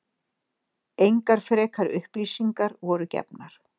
Engar frekari upplýsingar voru gefnar